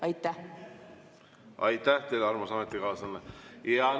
Aitäh teile, armas ametikaaslane!